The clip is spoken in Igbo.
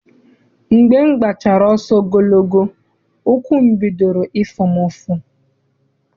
Mgbe m gbachara ọsọ ogologo, ụkwụ bidoro ịfụ m ụfụ.